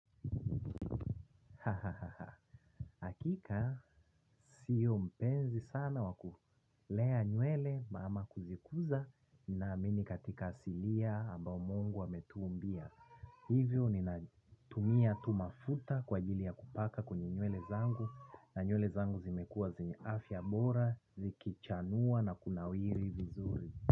Hakika sio mpenzi sana wa kulea nywele ama kuzikuza naamini katika asilia ambao Mungu ametuumbia. Hivyo ninatumia tu mafuta kwa ajili ya kupaka kwenye nywele zangu na nywele zangu zimekuwa zenye afya bora zikichanua na kunawiri vizuri.